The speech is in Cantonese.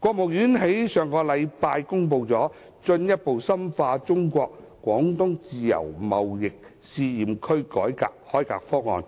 國務院在上周公布《進一步深化中國自由貿易試驗區改革開放方案》，